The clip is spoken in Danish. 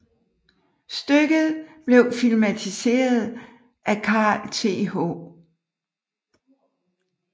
Stykket blev filmatiseret af Carl Th